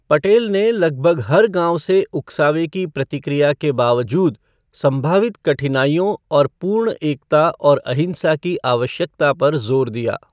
पटेल ने लगभग हर गाँव से उकसावे की प्रतिक्रिया के बावजूद संभावित कठिनाइयों और पूर्ण एकता और अहिंसा की आवश्यकता पर जोर दिया।